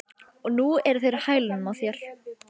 Og nú eru þeir á hælunum á þér